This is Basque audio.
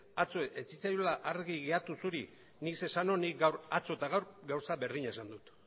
atzo ez zitzaizula argi geratu zuri nik zer esan nuen nik atzo eta gaur gauza berdina esan dut